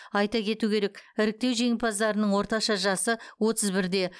айта кету керек іріктеу жеңімпаздарының орташа жасы отыз бірде